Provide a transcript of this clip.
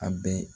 A bɛɛ